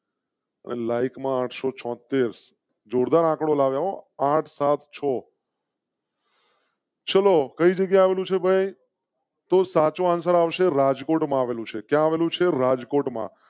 like માં આઠસો છોંતેર જોરદાર આંકડો લગાવો. આઠ સાત છો . ચલો કઈ જગ્યા નો છે ભાઈ તો સાચો આવશે. રાજકોટ માં આવેલુ છે. ક્યાં વધુ છે રાજકોટ માં